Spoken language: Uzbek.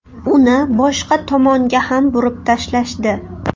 Uni boshqa tomonga ham burib tashlashdi.